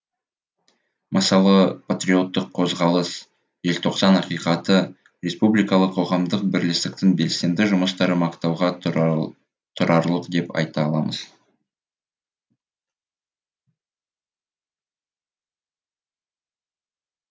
мысалы патриоттық қозғалыс желтоқсан ақиқаты республикалық қоғамдық бірлестіктің белсенді жұмыстары мақтауға тұрарлық деп айта аламыз